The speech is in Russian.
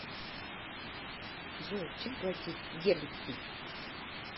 джой чем платить в гернси